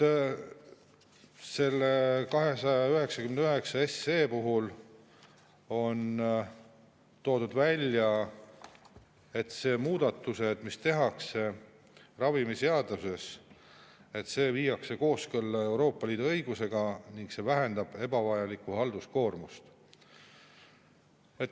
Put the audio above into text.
Eelnõu 299 puhul on välja toodud, et muudatustega, mis tehakse ravimiseaduses, viiakse kooskõlla Euroopa Liidu õigusega ning see vähendab ebavajalikku halduskoormust.